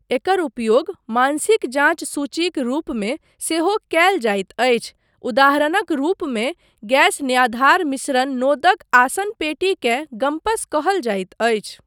एकर उपयोग मानसिक जाँच सूचीक रूपमे सेहो कयल जाइत अछि, उदाहरणक रूपमे गैस न्याधार मिश्रण नोदक आसनपेटीकेँ गम्पस कहल जाइत अछि।